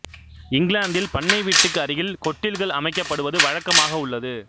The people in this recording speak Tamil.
இங்கிலாந்தில் பண்ணை வீட்டுக்கு அருகில் கொட்டில்கள் அமைக்கப்படுவது வழக்கமாக உள்லது